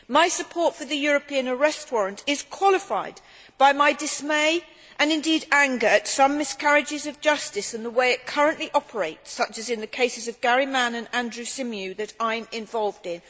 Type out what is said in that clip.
My support for the European arrest warrant is qualified by my dismay and indeed anger at some miscarriages of justice and the way it currently operates such as in the cases of Gary Mann and Andrew Symeou that I am involved in.